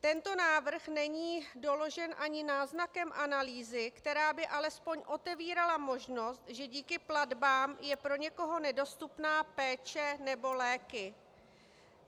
Tento návrh není doložen ani náznakem analýzy, která by alespoň otevírala možnost, že díky platbám je pro někoho nedostupná péče nebo léky.